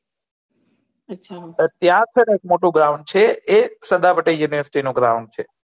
અચ્છા ત્યાં થે ને એક મોટો ગ્રોઉંન્દ છે ને એ સરદાર પટેલ university નું ગ્રોઉંન્દ છે